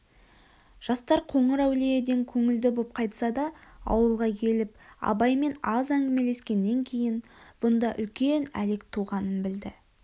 жастар қоңырәулиеден көңілді боп қайтсада ауылға келіп абаймен аз әңгімелескеннен кейін бұнда үлкен әлек туғанын білді